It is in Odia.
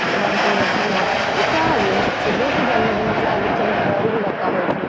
ସେପଟେ ଆମେ ସବୁ ବସିକି ନାଚୁ ନାଚୁ ଯାହାବି ନାଚିବୁ କି ଜନ୍ମଦିନ ହେଲା ଆଗରୁ ସବୁ ଘରକୁ ଡକା ହଉଥିଲା